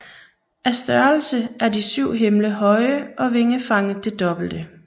Af størrelse er de syv himle høje og vingefanget det dobbelte